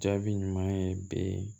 Jaabi ɲuman ye bi